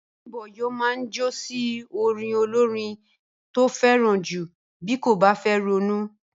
Bím̀bọ́ yóò má jó sí orin olórin tó fẹ́ràn jù bí kò bá fẹ́ ronú